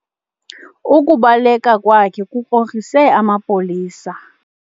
Ukubaleka kwakhe kukrokrise amapolisa.